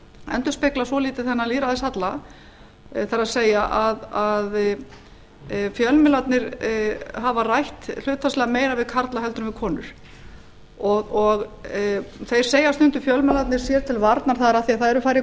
endurspeglað svolítið þennan lýðræðishalla það er að fjölmiðlarnir hafa rætt hlutfallslega meira við karla heldur en við konur þeir segja stundum fjölmiðlarnir sér til varnar það er af því að það eru færri konur þannig að það